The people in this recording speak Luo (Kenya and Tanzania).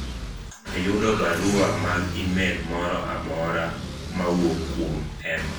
ayudo barua mag email moro amora mawuok kuom Emma